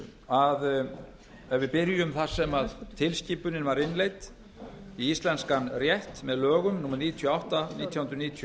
að ef við byrjum þar sem tilskipunin var innleidd í íslenskan rétt með lögum númer níutíu og átta nítján hundruð níutíu